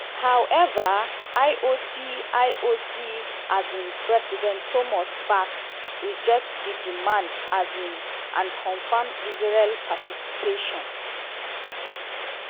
however ioc ioc um president thomas bach reject di demand um and confam israel participation.